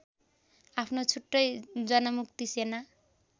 आफ्नो छुट्टै जनमुक्ति सेना